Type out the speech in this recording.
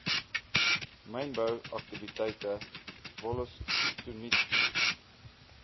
mynbou aktiwiteite wollostonite